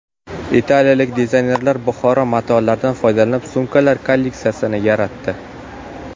Italiyalik dizaynerlar Buxoro matolaridan foydalanib sumkalar kolleksiyasini yaratdi.